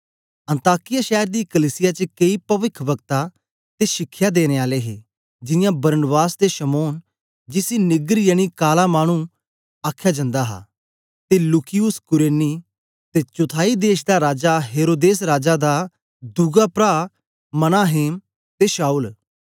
अन्ताकिया शैर दी कलीसिया च केई पविखवक्ता ते शिखया देने आले हे जियां बरनबास ते शमौन जिसी नीगर यनी काला मानु आखया जन्दा ऐ ते लूकियुस कुरेनी ते चौथाई देश दा राजा हेरोदेस राजा दा दोध प्रा मनाहेम ते शाऊल